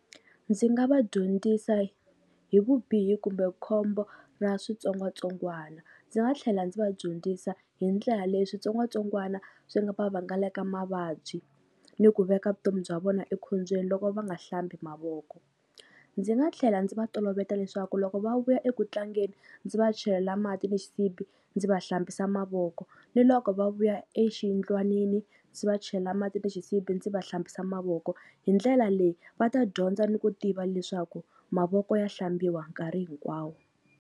Ndzi nga va dyondzisa hi vubihi kumbe khombo ra switsongwatsongwana, ndzi nga tlhela ndzi va dyondzisa hi ndlela leyi switsongwatsongwana swi nga va vangaleka mavabyi ni ku veka vutomi bya vona ekhombyeni loko va nga hlambi mavoko. Ndzi nga tlhela ndzi va toloveta leswaku loko va vuya eku tlangeni ndzi va chelela mati ni xisibi ndzi va hlambisa mavoko ni loko va vuya exiyindlwanini ndzi va chelela mati ni xisibi ndzi va hlambisa mavoko, hi ndlela leyi va ta dyondza ni ku tiva leswaku mavoko ya hlambiwa nkarhi hinkwawo.